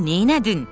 Sən neylədin?